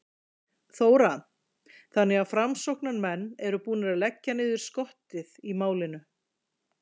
Þóra: Þannig að framsóknarmenn eru búnir að leggja niður skottið í málinu?